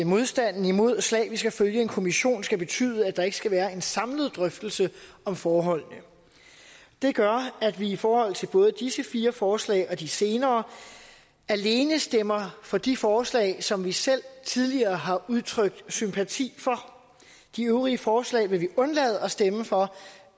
modstanden imod slavisk at følge en kommission skal betyde at der ikke skal være en samlet drøftelse om forholdene det gør at vi i forhold til både disse fire forslag og de senere alene stemmer for de forslag som vi selv tidligere har udtrykt sympati for de øvrige forslag vil vi undlade at stemme for